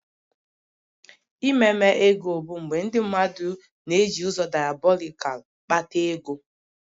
Ememe ego bụ mgbe ndị mmadụ na-eji ụzọ diabolikal kpata ego